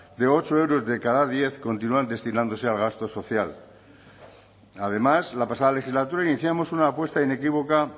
de ocho euros de cada diez continúan destinándose al gasto social además la pasada legislatura iniciamos una apuesta inequívoca